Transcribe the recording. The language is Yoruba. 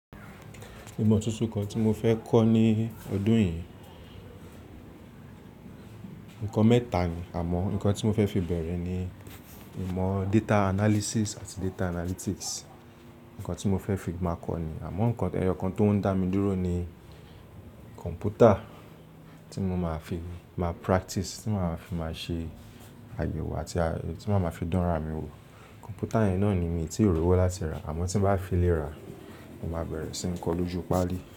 Ìmọ̀ tuntun kan tí mo fẹ́ kọ́ ní ọdún yìí, ǹkan mẹ́ta ni àmọ́ ǹkan tí mo fẹ́ fi bẹ̀rẹ̀ ni ìmọ̀ data analysis àti data analytics. Ǹkan tí mo fẹ́ fi máa kọ́ ni àmọ́ ǹkan ẹyọ kan tó ń dá mi dúró ni kọ̀ǹpútà tí mo máa fi máa practice, tí màá fi máa ṣe àyèwọ̀ àti tí màá fi máa fi dán ra mi wò. Kọ̀ǹpútà yẹn náà ni mi tí ò rí ọwọ́ láti rà àmọ́ tí bá fi lè rà, mo máa bẹ̀rẹ̀ sí ń kọ́ lójú páálí.